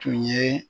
Tun ye